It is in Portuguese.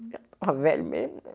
Eu estava velho mesmo né.